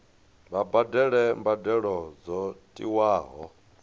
vha badele mbadelo dzo tiwaho